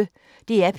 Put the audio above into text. DR P1